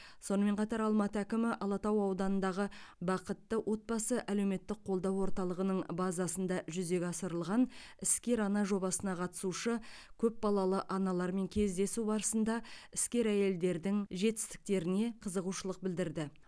сонымен қатар алматы әкімі алатау ауданындағы бақытты отбасы әлеуметтік қолдау орталығының базасында жүзеге асырылған іскер ана жобасына қатысушы көпбалалы аналармен кездесу барысында іскер әйелдердің жетістіктеріне қызығушылық білдірді